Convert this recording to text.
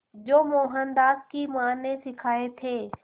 जो मोहनदास की मां ने सिखाए थे